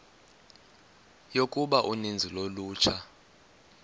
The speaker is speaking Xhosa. yokuba uninzi lolutsha